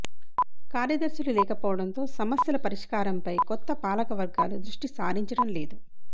కార్యదర్శులు లేకపోవడంతో సమస్యల పరిష్కారంపై కొత్త పాలకవర్గాలు దృష్టి సారించడం లేదు